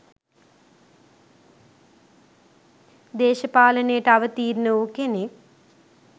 දේශපාලනයට අවතීර්ණ වූ කෙනෙක්?